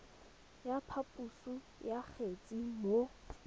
ya phaposo ya kgetse mo